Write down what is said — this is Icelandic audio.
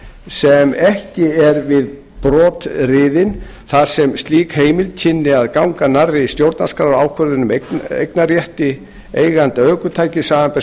sem ekki er við brot riðinn þar sem slík heimild kynni að ganga nærri stjórnarskrárvörðum eignarrétti eiganda ökutækis samanber